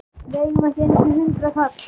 Við eigum ekki einu sinni hundraðkall!